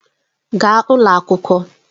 Gaa n'ụlọ akwụkwọ!